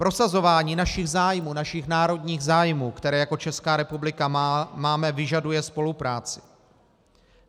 Prosazování našich zájmů, našich národních zájmů, které jako Česká republika máme, vyžaduje spolupráci.